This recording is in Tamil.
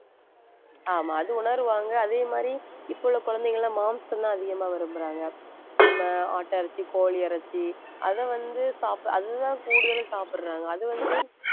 ஆமா அது உணருவாங்க அதே மாதிரி இப்ப உள்ள குழந்தைங்க எல்லாம் மாமிசம்தான் அதிகமா விரும்பறாங்க நம்ம ஆட்டிறைச்சி, கோழி இறைச்சி அதை வந்து சாப்~ அதுதான் கூடுதலா சாப்பிடறாங்க அது வந்து